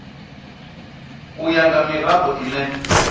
u ya nga mirado ine